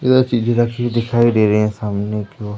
इधर चीजे रखी हुई दिखाई दे रही हैं सामने की ओ--